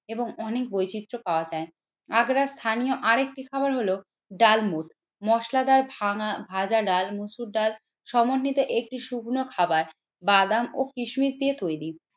এবং অনেক বৈচিত্র পাওয়া যায়। আগ্রার স্থানীয় আরেকটি খাবার হল ডালমুড মশলাদার ভাঙা ভাজাডাল মসুর ডাল সমন্বিত একটি শুকনো খাবার বাদাম ও কিসমিস দিয়ে তৈরি।